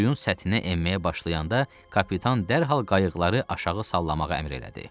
suyun səthinə enməyə başlayanda kapitan dərhal qayıqları aşağı sallamağa əmr elədi.